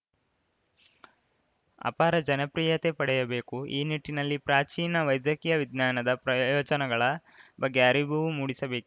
ಅಪಾರ ಜನಪ್ರಿಯತೆ ಪಡೆಯಬೇಕು ಈ ನಿಟ್ಟಿನಲ್ಲಿ ಪ್ರಾಚೀನ ವೈದ್ಯಕೀಯ ವಿಜ್ಞಾನದ ಪ್ರಯೋಜನಗಳ ಬಗ್ಗೆ ಅರಿವು ಮೂಡಿಸಬೇಕಿ